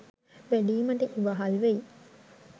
වැඩීමට ඉවහල් වෙයි.